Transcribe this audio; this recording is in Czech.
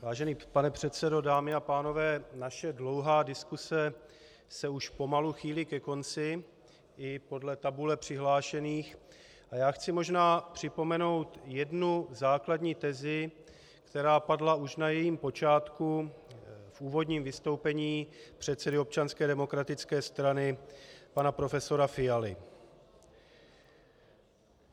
Vážený pane předsedo, dámy a pánové, naše dlouhá diskuse se už pomalu chýlí ke konci i podle tabule přihlášených a já chci možná připomenout jednu základní tezi, která padla už na jejím počátku v úvodním vystoupení předsedy Občanské demokratické strany, pana profesora Fialy.